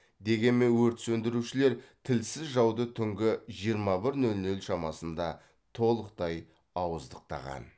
дегенмен өрт сөндірушілер тілсіз жауды түнгі жиырма бір нөл нөл шамасында толықтай ауыздықтаған